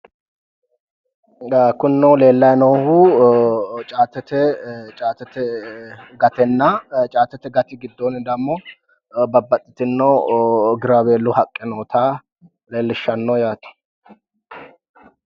kunino leellanni noohu caatete gatenna caatete gati giddoonni dammo babbaxitino giraaweellu haqqe noota leellishshanno yaate.